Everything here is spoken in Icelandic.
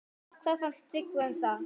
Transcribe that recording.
Hvað fannst Tryggva um það?